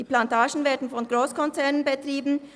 Die Plantagen werden von Grosskonzernen betrieben;